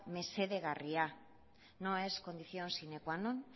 mesedegarria no es condición sine qua non